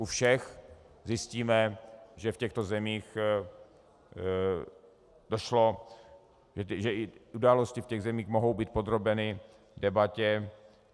U všech zjistíme, že v těchto zemích došlo, že i události v těch zemích mohou být podrobeny debatě.